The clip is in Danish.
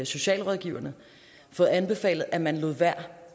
socialrådgiverforening fået anbefalet at man lod være